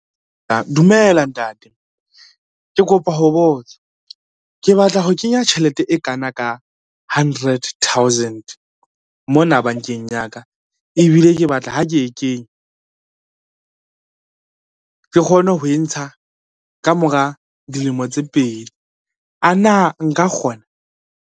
Dumela ntate. Ke kopa ho botsa, ke batla ho kenya tjhelete e kana ka hundred thousand mona bankeng ya ka ebile ke batla ha ke e kenya, ke kgone ho e ntsha ka mora dilemo tse pedi, a na nka kgona.